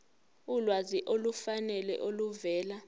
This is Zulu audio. ulwazi olufanele oluvela